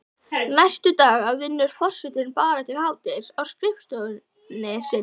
Næstu daga vinnur forsetinn bara til hádegis á skrifstofunni sinni.